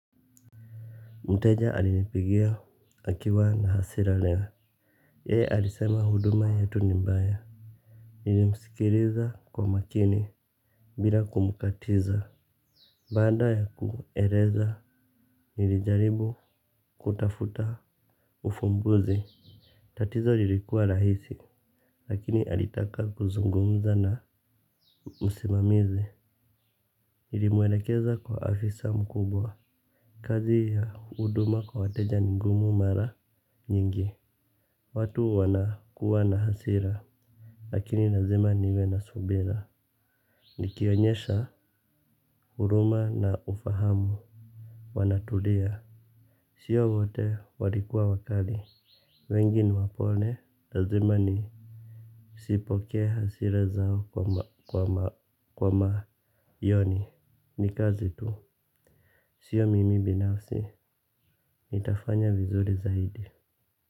Mteja alinipigia akiwa na hasira leo yeye alisema huduma yetu nimbaya. Nilimsikiriza kwa makini. Bila kumkatiza baanda ya kueleza nilijaribu kutafuta Ufumbuzi. Tatizo lilikuwa rahisi. Lakini alitaka kuzungumza na Musimamizi. Nilimwelekeza kwa afisa mkubwa. Kazi ya huduma kwa wateja ni ngumu mara nyingi. Watu wana kuwa na hasira, lakini lazima niwe na subira. Nikionyesha huruma na ufahamu. Wanatulia. Sio wote walikuwa wakali. Wengi wapole, lazima ni sipokee hasira zao kwa ma yoni. Nikazi tu. Sio mimi binafsi. Nitafanya vizuri zaidi.